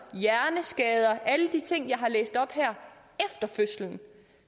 hjerneskader alle de ting jeg har læst op her efter fødslen